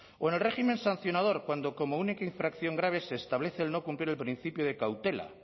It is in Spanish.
o en el régimen sancionador cuando como única infracción grave se establece el no cumplir el principio de cautela